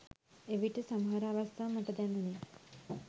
එවිට සමහර අවස්ථා මට දැනුණෙ